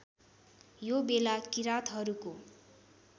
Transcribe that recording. यो बेला किरातहरूको